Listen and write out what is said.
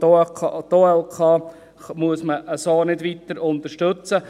Die OLK müssen wir so nicht weiter unterstützen.